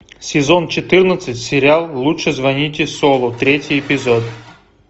сезон четырнадцать сериал лучше звоните солу третий эпизод